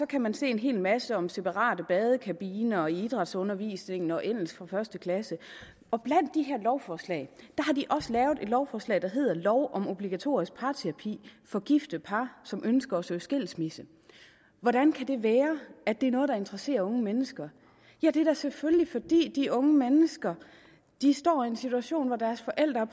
kan man se en hel masse om separate badekabiner og idrætsundervisning og engelsk for første klasse og blandt de her lovforslag har de også lavet et lovforslag der hedder lov om obligatorisk parterapi for gifte par som ønsker at søge skilsmisse hvordan kan det være at det er noget der interesserer unge mennesker det er da selvfølgelig fordi de unge mennesker står i en situation hvor deres forældre